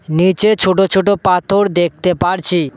নীচে ছোট ছোট পাথর দেখতে পারছি।